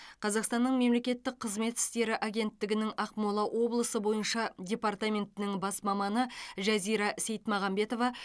қазақстанның мемлекеттік қызмет істері агенттігінің ақмола облысы бойынша департаментінің бас маманы жазира сейтмағанбетова